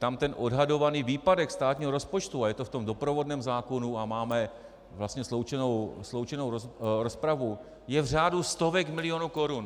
Tam ten odhadovaný výpadek státního rozpočtu, a je to v tom doprovodném zákonu a máme vlastně sloučenou rozpravu, je v řádu stovek milionů korun.